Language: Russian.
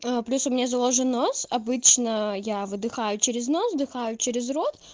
плюс у меня заложен нос обычно я вдыхаю через нос вдыхаю через рот